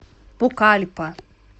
пукальпа